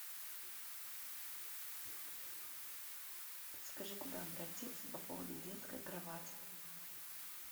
подскажи куда обратиться по поводу детской кровати